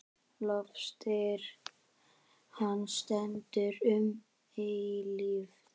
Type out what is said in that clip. Lofstír hans stendur um eilífð.